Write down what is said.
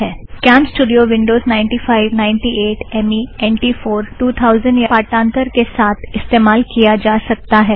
CamStudio Microsoft Windows 95 98 M E N T 4 2000 या X P पाठांथर के साथ इस्तेमाल किया जा सकता है